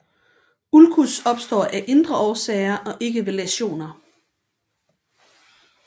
Ulcus opstår af indre årsager og ikke ved læsioner